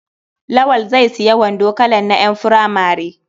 Lawal zai sayi wando kalan na ƴan furamare.